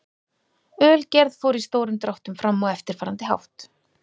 Ölgerð fór í stórum dráttum fram á eftirfarandi hátt.